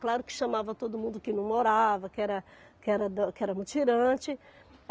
Claro que chamava todo mundo que não morava, que era que era da que era mutirante.